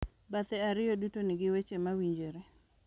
Bathe ariyo duto nigi weche ma owinjore,